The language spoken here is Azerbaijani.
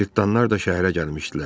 Cırtdanlar da şəhərə gəlmişdilər.